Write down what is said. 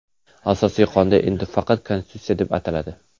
Asosiy qonun endi faqat Konstitutsiya deb ataladi.